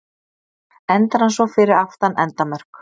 Endar hann svo fyrir aftan endamörk.